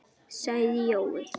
sagði Jói.